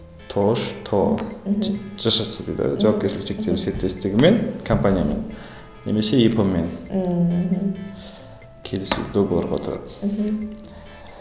тоо жшс дейді ғой жауапкершілігі шектеулі серіктестігі мен компаниямен немесе ип мен ммм келісіп договорға отырады мхм